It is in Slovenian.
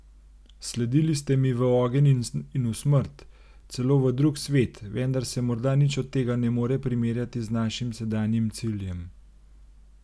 Sledili ste mi v ogenj in v smrt, celo v drugi svet, vendar se morda nič od tega ne more primerjati z našim sedanjim ciljem.